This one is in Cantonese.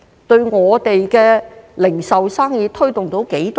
對我們的零售生意有多少推動呢？